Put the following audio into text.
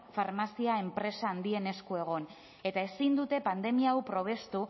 farmazia enpresa handien esku egon eta ezin dute pandemia hau probestu